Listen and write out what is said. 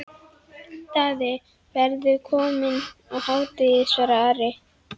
Daði verður kominn á hádegi, svaraði Ari.